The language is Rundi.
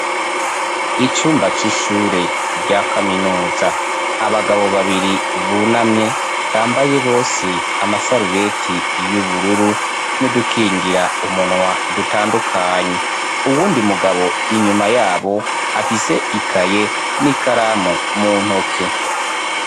Icumba c'ishure rya kaminuza, abagabo babiri bunamye, bambaye bose amasarubeti y'ubururu, n'udukingira umunwa dutandukanye, uwundi mugabo inyuma yabo, afise ikaye n'ikaramu mu ntoke.